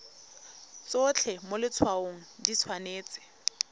tsotlhe mo letshwaong di tshwanetse